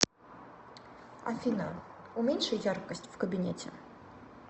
афина уменьши яркость в кабинете